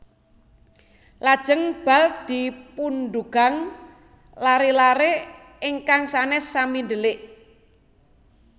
Lajèng bal dipundugang laré laré ingkang sanes sami ndèlik